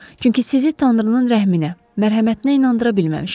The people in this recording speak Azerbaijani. Çünki sizi tanrının rəhminə, mərhəmətinə inandıra bilməmişəm.